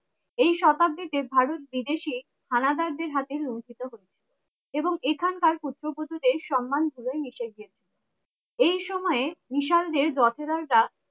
এই শতাব্দীতে ভারত বিদেশি হানাদার দের হাতে লুন্ঠিত হচ্ছে এবং এখানকার পুত্রবধূদের সম্মান ধুলোয় মিশে গেছে এই সময়ে মিশাল দের যথেজার রা